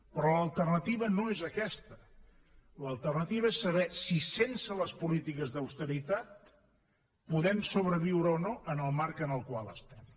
però l’alternativa no és aquesta l’alternativa és saber si sense les polítiques d’austeritat podem sobreviure o no en el marc en el qual estem